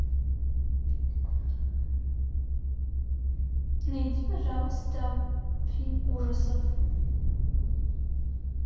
найди пожалуйста фильм ужасов